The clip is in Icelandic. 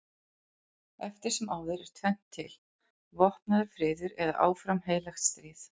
Eftir sem áður er tvennt til: vopnaður friður eða áfram heilagt stríð.